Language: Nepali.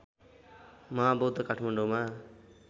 महाबौद्ध काठमाडौँमा